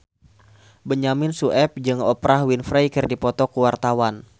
Benyamin Sueb jeung Oprah Winfrey keur dipoto ku wartawan